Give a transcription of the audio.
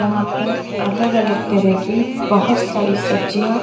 यहां पर अलग अलग तरह की बहोत सारी सब्जियां--